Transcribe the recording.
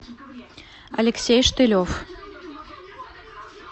алексей штылев